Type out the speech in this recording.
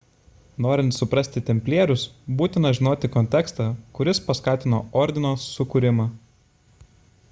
norint suprasti templierius būtina žinoti kontekstą kuris paskatino ordino sukūrimą